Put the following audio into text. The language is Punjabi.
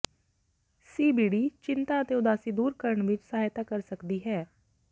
ਸੀਬੀਡੀ ਚਿੰਤਾ ਅਤੇ ਉਦਾਸੀ ਦੂਰ ਕਰਨ ਵਿੱਚ ਸਹਾਇਤਾ ਕਰ ਸਕਦੀ ਹੈ